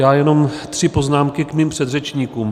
Já jenom tři poznámky k mým předřečníkům.